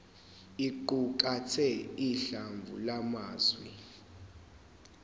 iqukathe uhlamvu lwamazwi